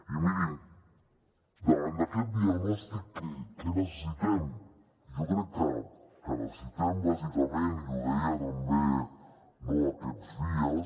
i mirin davant d’aquest diagnòstic què necessitem jo crec que necessitem bàsicament i ho deia també aquests dies